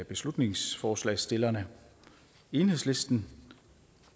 beslutningsforslagsstillerne enhedslisten